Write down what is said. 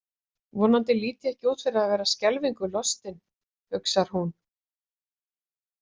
Vonandi lít ég ekki út fyrir að vera skelfingu lostin, hugsar hún.